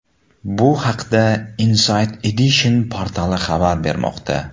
Bu haqda Inside Edition portali xabar bermoqda .